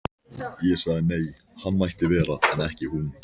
Ég sagði nei, hann mætti vera en ekki hún.